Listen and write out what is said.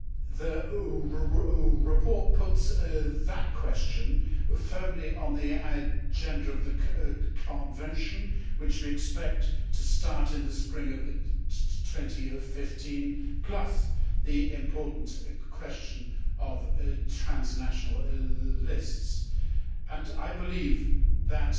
The report puts that question firmly on the agenda of the Convention, which we expect to start in the spring of 2015, plus the important question of transnational lists, and I believe that